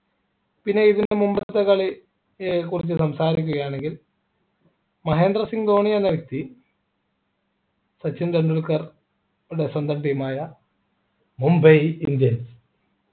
പിന്നെ ഇതിനു മുമ്പത്തെ കളിയെ കുറച്ച് സംസാരിക്കുകയാണെങ്കിൽ മഹേന്ദ്ര സിംഗ് ധോണി എന്ന വ്യക്തി സച്ചിൻ ടെണ്ടുൽക്കർടെ സ്വന്തം team ആയ മുംബൈ indians